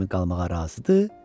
kimi qalmağa razıdır.